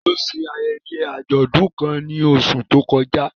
Tani ó ṣe ayẹyẹ àjọ̀dún kan ní oṣù tó kọjá?